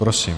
Prosím.